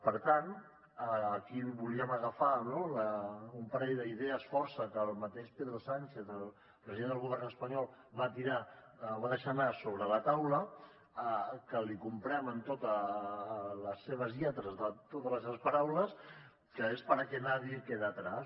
per tant aquí volíem agafar no un parell de idees força que el mateix pedro sánchez el president del govern espanyol va deixar anar sobre la taula que li comprem amb totes les seves lletres de totes les seves paraules que és para que nadie quede atrás